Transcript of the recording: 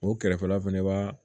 O kɛrɛfɛla fana ba